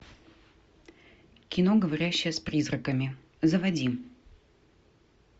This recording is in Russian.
кино говорящая с призраками заводи